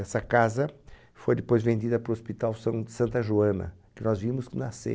Essa casa foi depois vendida para o Hospital São Santa Joana, que nós vimos nascer.